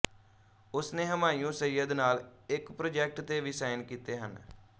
ਉਸਨੇ ਹੁਮਾਯੂੰ ਸਈਅਦ ਨਾਲ ਇੱਕ ਪ੍ਰੋਜੈਕਟ ਤੇ ਵੀ ਸਾਇਨ ਕੀਤੇ ਹਨ